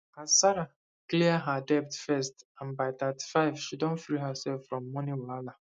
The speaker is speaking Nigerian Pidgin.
as sarah clear her debt first and by 35 she don free herself from money wahala